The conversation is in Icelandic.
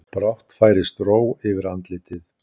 Brátt færist ró yfir andlitið.